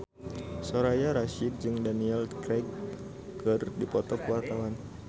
Soraya Rasyid jeung Daniel Craig keur dipoto ku wartawan